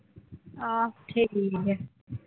ਅਹ ਠੀਕ ਹੈ,